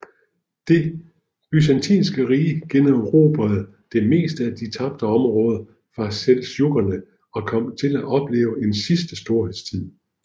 Det Byzantinske Rige generobrede det meste af de tabte områder fra seldsjukkerne og kom til at opleve en sidste storhedstid